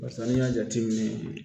Barisa n'i y'a jateminɛ